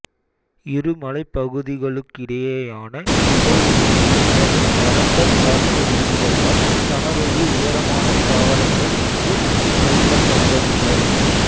இரு மலைப்பகுதிகளுக்கிடையேயான இடைவெளியில் நிலவும் வறண்ட காற்று வீசுவதால் சமவெளி உயரமான தாவரங்கள் இங்கு பயிரிடப்படுவதில்லை